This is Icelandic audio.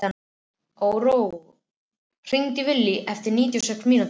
Áróra, hringdu í Villy eftir níutíu og sex mínútur.